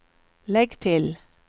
legg til